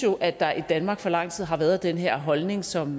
at der i danmark i for lang tid har været den her holdning som